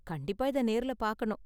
கண்டிப்பா இதை நேர்ல பார்க்கணும்